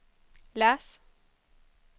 läs